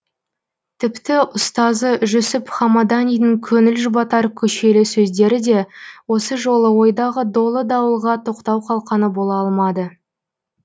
тіпті ұстазы жүсіп хамаданидің көңіл жұбатар көшелі сөздері де осы жолы ойдағы долы дауылға тоқтау қалқаны бола алмады